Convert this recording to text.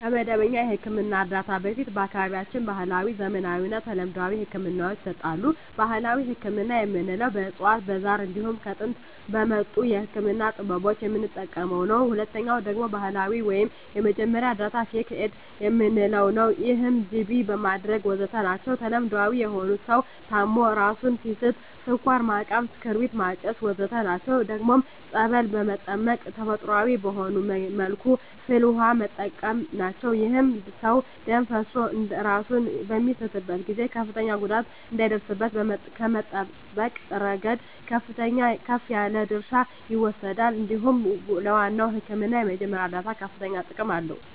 ከመደበኛ የሕክምና እርዳታ በፊት በአካባቢያችን ባህለዊ፣ ዘመናዊና ተለምዷዊ ህክምናወች ይሰጣሉ። ባህላዊ ህክምና የምንለዉ በእፅዋት በዛር እንዲሁም ከጥንት በመጡ የህክምና ጥበቦች የምንጠቀመዉ ነዉ። ሁለተኛዉ ደግሞ ዘመናዊ ወይም የመጀመሪያ እርዳታ(ፈርክት ኤድ) የምንለዉ ነዉ ይህም ጅቢ ማድረግ ወዘተ ናቸዉ። ተለምዳዊ የሆኑት ሰዉ ታሞ እራሱን ሲስት ስኳር ማቃም ክርቢት ማጨስ ወዘተ ናቸዉ። ደግሞም ፀበል በመጠመቅ ተፈጥሮአዊ በሆነ መልኩ ፍል ዉሃ በመጠቀም ናቸዉ። ይህም ሰዉ ደም ፈሶት እራሱን በሚስትበት ጊዜ ከፍተኛ ጉዳት እንዳይደርስበት ከመጠበቅ እረገድ ከፍ ያለ ድርሻ ይወስዳል እንዲሁም ለዋናዉ ህክምና የመጀመሪያ እርዳታ ከፍተኛ ጥቅም አለዉ።